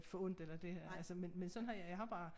Forundt eller det altså men men sådan har jeg har bare